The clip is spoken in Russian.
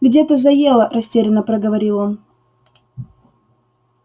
где-то заело растерянно проговорил он